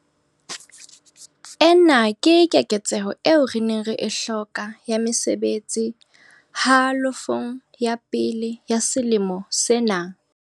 Ena ke keketseho eo re neng re e hloka ya mesebetsi halofong ya pele ya selemo sena.